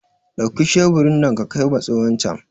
Dauki sheburi nan ka kaima tsohon can!